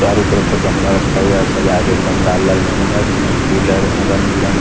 चारों तरफ से गमला रखा हुआ है सजा के एकदम लाल लाल गमला जिसमें फूल है रंग बिरंग।